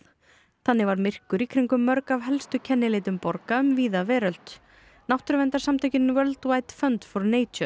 þannig varð myrkur í kringum mörg af helstu kennileitum borga um víða veröld náttúruverndarsamtökin World fund for